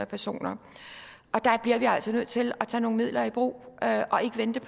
personer og der bliver vi altså nødt til at tage nogle midler i brug og ikke vente